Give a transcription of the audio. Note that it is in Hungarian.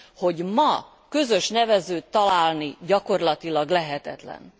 hogy ma közös nevezőt találni gyakorlatilag lehetetlen.